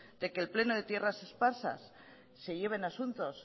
de que el pleno de tierras esparsas se lleven asuntos